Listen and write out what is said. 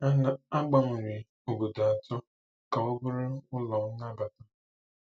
A gbanwere obodo atọ ka ọ bụrụ ụlọ nnabata.